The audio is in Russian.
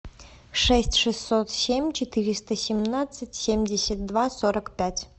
шесть шестьсот семь четыреста семнадцать семьдесят два сорок пять